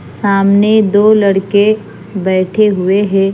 सामने दो लड़के बेठे हुए है।